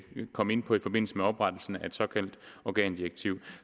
komme ind på i forbindelse med oprettelsen af et såkaldt organdirektiv